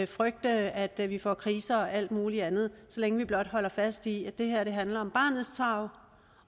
frygte at vi får kriser og alt muligt andet så længe vi blot holder fast i at det her handler om barnets tarv